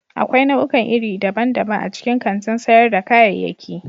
Akwai nau'ikan iri daban-daban a cikin kantin sayar da kayayyaki.